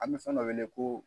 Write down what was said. An bɛ fɛn dɔ weele ko